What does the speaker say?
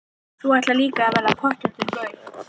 Þú ætlar líka að verða pottþéttur gaur.